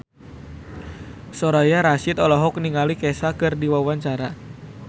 Soraya Rasyid olohok ningali Kesha keur diwawancara